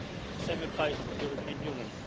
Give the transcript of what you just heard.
The same applies to the European Union.